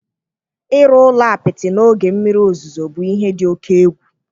Ịrụ ụlọ apịtị n'oge mmiri ozuzo bụ ihe dị oke egwu.